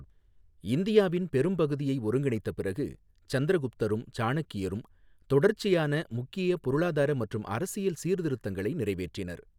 இந்தியாவின் பெரும்பகுதியை ஒருங்கிணைத்த பிறகு, சந்திரகுப்தரும் சாணக்கியரும் தொடர்ச்சியான முக்கிய பொருளாதார மற்றும் அரசியல் சீர்திருத்தங்களை நிறைவேற்றினர்.